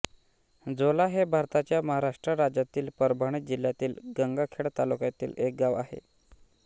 झोला हे भारताच्या महाराष्ट्र राज्यातील परभणी जिल्ह्यातील गंगाखेड तालुक्यातील एक गाव आहे